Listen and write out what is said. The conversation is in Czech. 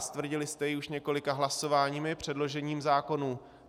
A stvrdili jste ji už několika hlasováními předložených zákonů.